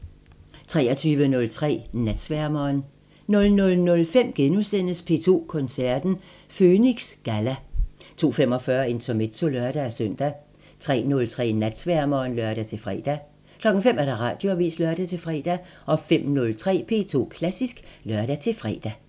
23:03: Natsværmeren 00:05: P2 Koncerten – Føniks Galla * 02:45: Intermezzo (lør-søn) 03:03: Natsværmeren (lør-fre) 05:00: Radioavisen (lør-fre) 05:03: P2 Klassisk (lør-fre)